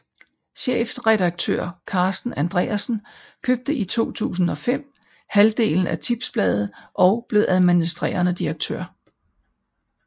Chefredaktør Carsten Andreasen købte i 2005 halvdelen af Tipsbladet og blev administrerende direktør